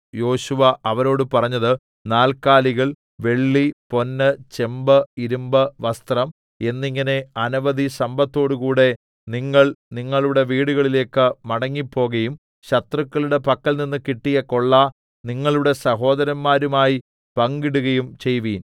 യോശുവ അവരോട് പറഞ്ഞത് നാല്‍ക്കാലികൾ വെള്ളി പൊന്ന് ചെമ്പ് ഇരിമ്പ് വസ്ത്രം എന്നിങ്ങനെ അനവധി സമ്പത്തോടുകൂടെ നിങ്ങൾ നിങ്ങളുടെ വീടുകളിലേക്ക് മടങ്ങിപ്പോകയും ശത്രുക്കളുടെ പക്കൽനിന്ന് കിട്ടിയ കൊള്ള നിങ്ങളുടെ സഹോദരന്മാരുമായി പങ്കിടുകയും ചെയ്‌വിൻ